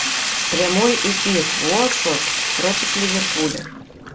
прямой эфир уотфорд против ливерпуля